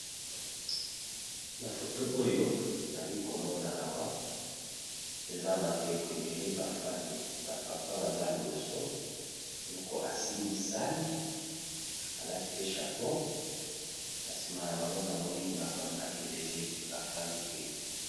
na foto oyo ali komona awa eza bandeko ebele bafandi bapapa baza liboso moko asimbisani alati pe chapeou na nsima ya bango namoni bamama ebele bafandi pe